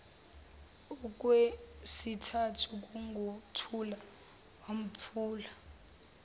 owesithathu kunguthula wamphula